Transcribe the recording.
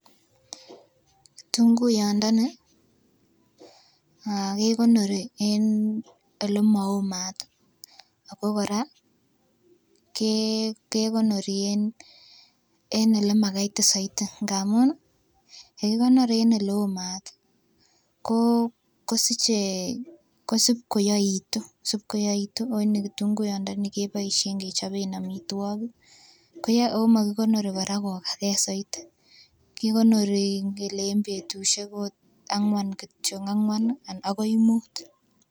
Tunguyondoni aah kekonori en ole moomaat ako Koraa kekonori en ole makaitit souti ngamun nii yekikonaor en Ile omat tii koo kosichee kosib koyoitu sikoyoitu onii kitunguyondoni keboishen kechoben omitwokik koyoe omokikonori Koraa kokagee soiti kikonori inkele en betushek ot angwan kityok angwan nii akoi mut.